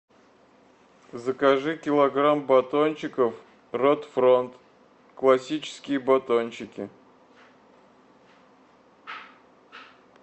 закажи килограмм батончиков рот фронт классические батончики